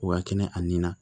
O ka kɛnɛ a nin na